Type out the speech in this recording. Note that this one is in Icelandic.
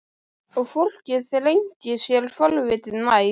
Og fólkið þrengdi sér forvitið nær.